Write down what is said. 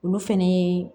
Olu fɛnɛ ye